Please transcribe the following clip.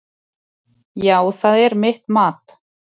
Já, það er mitt mat.